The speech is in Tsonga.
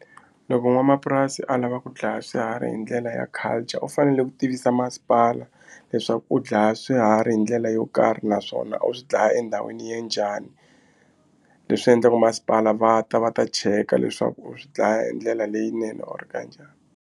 Loko n'wanamapurasi a lava ku dlaya swiharhi hi ndlela ya culture u fanele ku tivisa masipala leswaku u dlaya swiharhi hi ndlela yo karhi naswona u swi dlaya endhawini ya njhani leswi endlaku masipala va ta va ta cheka leswaku u swi dlaya hi ndlela leyinene or kanjhani.